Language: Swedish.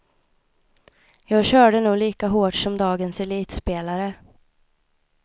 Jag körde nog lika hårt som dagens elitspelare.